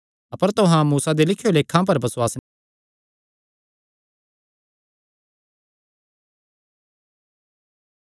अपर तुहां मूसा दे लिखेयां लेखा पर बसुआस नीं करदे तां मेरेयां वचनां पर किंआं बसुआस करगे